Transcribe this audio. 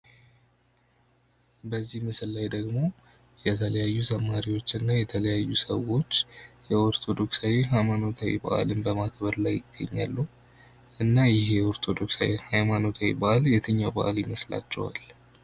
በዚህ ምስል ላይ ደግሞ የተለያዩ ዘማሪዎች እና የተለያዩ ሰዎች የኦርቶዶክሳዊ ሃይማኖታዊ በአል በማክበር ላይ ይገኛሉ። እና ይህ የኦርቶዶክሳዊ ሀይማኖታዊ በአል የትኛው በአል ይመስላቸዋል?